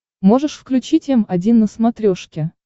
можешь включить м один на смотрешке